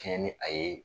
Kɛɲɛ ni a ye